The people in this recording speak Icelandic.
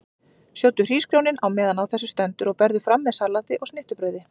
Sjóddu hrísgrjónin á meðan á þessu stendur og berðu fram með salati og snittubrauði.